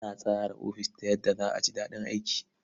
Ana tsara ofis ta yadda za a ji daɗin aiki.